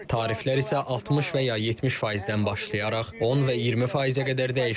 Tariflər isə 60 və ya 70%-dən başlayaraq 10 və 20%-ə qədər dəyişəcək.